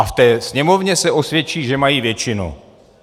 A v té Sněmovně se osvědčí, že mají většinu.